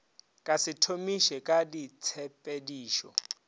ka se thomiše ka ditshepedišo